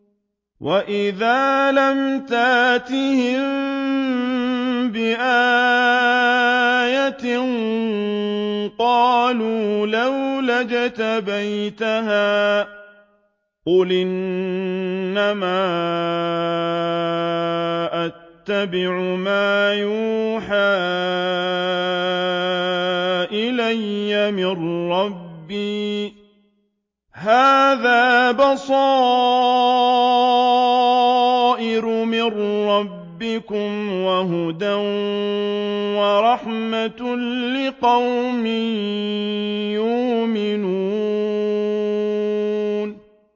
وَإِذَا لَمْ تَأْتِهِم بِآيَةٍ قَالُوا لَوْلَا اجْتَبَيْتَهَا ۚ قُلْ إِنَّمَا أَتَّبِعُ مَا يُوحَىٰ إِلَيَّ مِن رَّبِّي ۚ هَٰذَا بَصَائِرُ مِن رَّبِّكُمْ وَهُدًى وَرَحْمَةٌ لِّقَوْمٍ يُؤْمِنُونَ